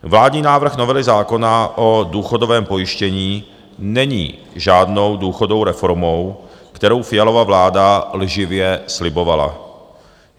Vládní návrh novely zákona o důchodovém pojištění není žádnou důchodovou reformou, kterou Fialova vláda lživě slibovala.